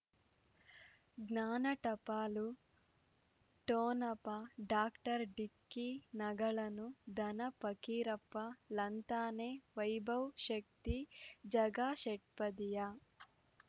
ಜ್ಞಾನ ಟಪಾಲು ಠೊಣಪ ಡಾಕ್ಟರ್ ಢಿಕ್ಕಿ ಣಗಳನು ಧನ ಪಕೀರಪ್ಪ ಳಂತಾನೆ ವೈಭವ್ ಶಕ್ತಿ ಝಗಾ ಷಟ್ಪದಿಯ